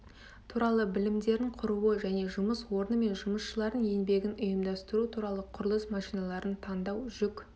туралы білімдерін құруы және жұмыс орны және жұмысшылардың еңбегін ұйымдастыру туралы құрылыс машиналарын таңдау жүк